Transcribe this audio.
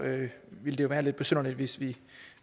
ville det jo være lidt besynderligt hvis vi